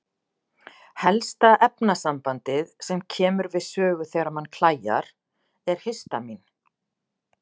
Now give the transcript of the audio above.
Helsta efnasambandið sem kemur við sögu þegar mann klæjar er histamín.